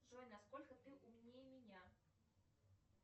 джой насколько ты умнее меня